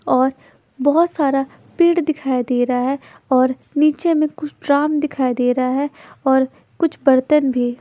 और बहुत सारा पेड़ दिखाई दे रहा है और नीचे में कुछ ड्राम दिखाई दे रहा है और कुछ बर्तन भी।